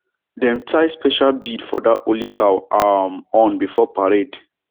dem tie special bead for that holy cow um horn before parade